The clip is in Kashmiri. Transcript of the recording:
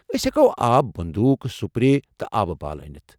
أسۍ ہٮ۪کوٕ آبہ بندوٗک ، سُپرے تہٕ آبہٕ بالہٕ انتھ؟